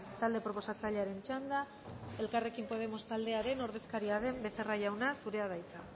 talde proposatzailearen txanda elkarrekin podemos taldearen ordezkaria den becerra jauna zurea da hitza